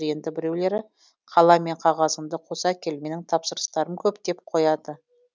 енді біреулері қалам мен қағазыңды қоса кел менің тапсырыстарым көп деп қояды